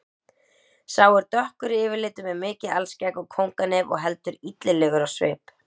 Sá er dökkur yfirlitum með mikið alskegg og kónganef og heldur illilegur á svip.